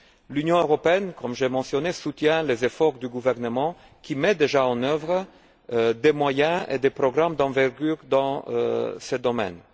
L'Union européenne, comme je l'ai mentionné, soutient les efforts du gouvernement, qui met déjà en œuvre des moyens et des programmes d'envergure dans ce domaine.